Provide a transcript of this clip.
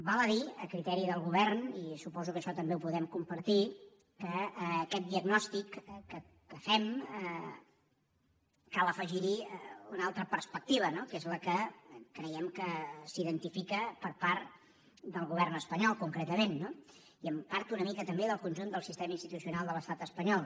val a dir a criteri del govern i suposo que això també ho podem compartir que a aquest diagnòstic que fem cal afegir hi una altra perspectiva que és la que creiem que s’identifica per part del govern espanyol concretament no i en part una mica també del conjunt del sistema institucional de l’estat espanyol